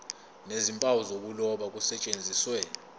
nezimpawu zokuloba kusetshenziswe